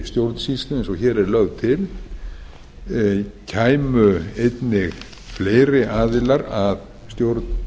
stjórnsýslu eins og hér er lögð til kæmu einnig fleiri aðilar að stjórn